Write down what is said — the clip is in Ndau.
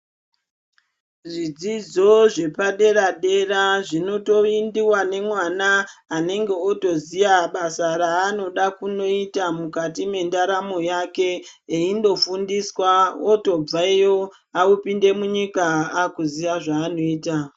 Zvidzidzo zvepadera-dera zvinotoendiva nemwana anenge otoziya basa raanoda kunoita mukati mendaramo yake. Eindofundiswa otobvayo opinde munyika akuziya zvanoita.